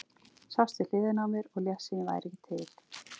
Sast við hliðina á mér og lést sem ég væri ekki til.